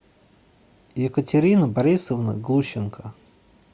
екатерины борисовны глущенко